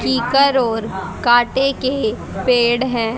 पीकर और कांटे के पेड़ है।